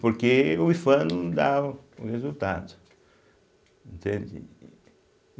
Porque o ifam não dá o o resultado, entende e.